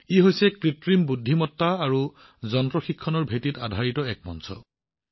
এইটো কৃত্ৰিম বুদ্ধিমত্তা আৰু যন্ত্ৰ শিক্ষণৰ ওপৰত আধাৰিত এখন মঞ্চ